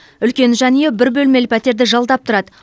үлкен жанұя бір бөлмелі пәтерді жалдап тұрады